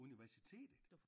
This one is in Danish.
Universitetet